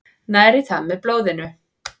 Næri það með blóðinu.